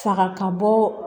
Saga ka bɔ